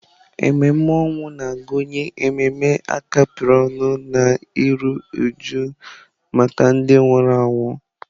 Ememe ọnwụ na-agụnye ememe a kapịrị ọnụ na iru újú maka ndị nwụrụ anwụ.